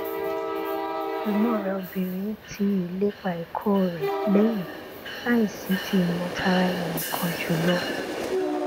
ẹgbọn rẹ obìnrin ti ìlépa ẹkọ rẹ lẹyìn láìsí ti ìmọ tara ẹninìkan jùlọ